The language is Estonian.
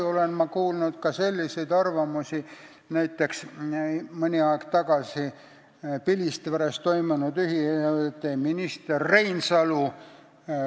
Ma olen kuulnud ka selliseid arvamusi, nagu näiteks mõni aeg tagasi Pilistveres toimunud üritusel.